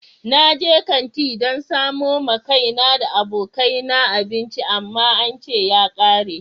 Na je kanti dan samo ma kaina da abokai na abinci amma an ce ya kare.